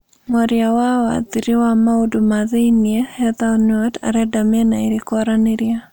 Mwaria wa wathiri ya maũndũ ma thĩinĩ Heather Nauert arenda mĩena ĩĩri kwaranĩria